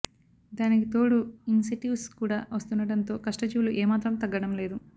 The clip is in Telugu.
దానికితోడు ఇన్సెటివ్స్ కూడా వస్తుండడంతో కష్టజీవులు ఏ మాత్రం తగ్గడం లేదు